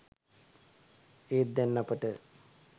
ඒත් දැන් අපට